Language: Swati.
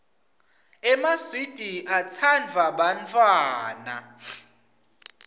emaswidi atsanduwa bantfwana